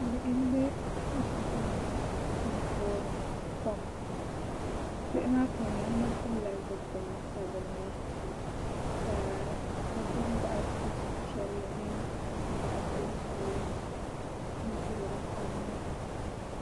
Bihi n bɛ kuligi ni n toori kom bihi maa puuni yino pilila zipili sabinli ka bi gbubi boɣati piɛlli mini boɣati buluu n toori kom maa